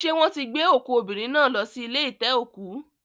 Ṣé wọ́n ti gbé òkú obìnrin náà lọ sí ilé ite-oku